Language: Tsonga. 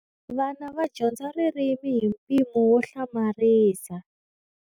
Vana va dyondza ririmi hi mpimo wo hlamarisa.